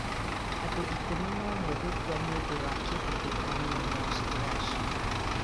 Andũ 11 gũkua nĩ ũndũ wa kĩhuhũkanio Moscow, Russia.